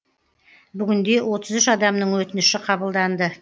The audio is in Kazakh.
бүгінде отыз үш адамның өтініші қабылданды